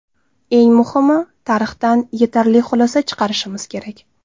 Eng muhimi, tarixdan yetarli xulosa chiqarishimiz kerak.